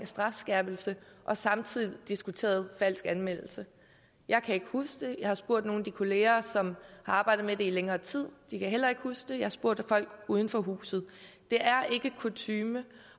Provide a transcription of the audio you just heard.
strafskærpelse og samtidig diskuteret falsk anmeldelse jeg kan ikke huske det jeg har spurgt nogle af de kollegaer som har arbejdet med det i længere tid de kan heller ikke huske det jeg har spurgt folk uden for huset det er ikke kutyme